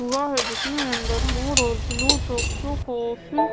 हुआ है जिसमें अंदर ।